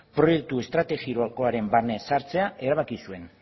proiektu estrategikoaren barnean sartzea erabaki zuen